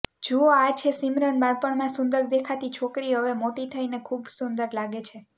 જુઓ આ છે સિમરન બાળપણમાં સુંદર દેખાતી છોકરી હવે મોટી થઈને ખુબ સુંદર લાગે છે